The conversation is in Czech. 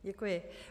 Děkuji.